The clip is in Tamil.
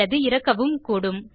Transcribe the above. அல்லது இறக்கவும் கூடும்